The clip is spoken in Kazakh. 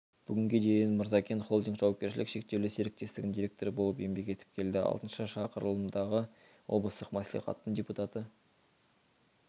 бүгінге дейін мырзакент-холдинг жауапкершілігі шектеулі серіктестігінің директоры болып еңбек етіп келді алтыншы шақырылымдағы облыстық мәслихаттың депутаты